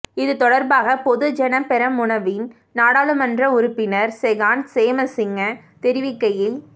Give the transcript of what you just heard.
இது தொடர்பாக பொதுஜன பெரமுனவின் நாடாளுமன்ற உறுப்பினர் செகான் சேமசிங்க தெரிவிக்கையில்